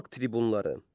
Xalq tribunları.